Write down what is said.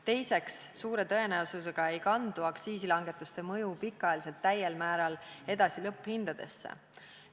Teiseks, suure tõenäosusega ei kandu aktsiisi langetamise mõju pikaajaliselt täiel määral edasi lõpphindadesse.